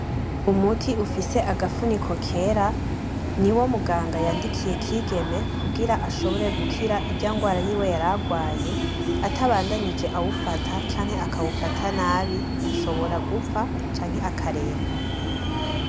Umuti ufise agafuniko kera ni wo muganga yandikiye Kigeme kugira ashobore gukira indwara yiwe yari arwaye. Atabandanije awufata canke akawufata nabi ashobora gupfa canke akaremba.